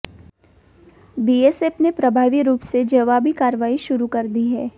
BSF ने प्रभावी रूप से जवाबी कार्रवाई शुरू कर दी है